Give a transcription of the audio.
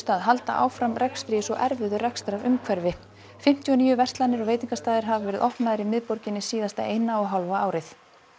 að halda áfram rekstri í svo erfiðu rekstrarumhverfi fimmtíu og níu verslanir og veitingastaðir hafa verið opnaðir í miðborginni síðasta eina og hálfa árið